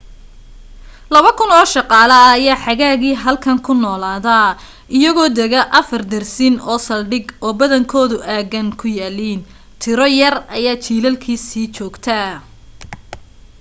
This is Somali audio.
laba kun oo shaqaale ah ayaa xagaagii halkan ku noolaada iyagoo dega afar dersin oo saldhig oo badankoodu aaggan ku yaaliin tiro yar ayaa jilaalkii sii joogta